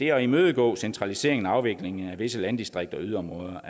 at imødegå centraliseringen og afviklingen af visse landdistrikter og yderområder